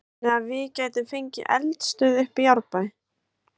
Þannig að við gætum fengið eldstöð uppi í Árbæ?